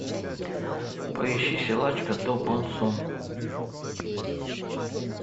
поищи силачка до бон сун